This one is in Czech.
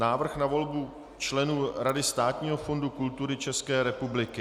Návrh na volbu členů Rady Státního fondu kultury České republiky